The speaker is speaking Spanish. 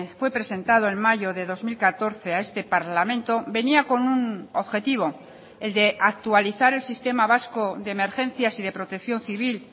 fue presentado en mayo de dos mil catorce a este parlamento venía con un objetivo el de actualizar el sistema vasco de emergencias y de protección civil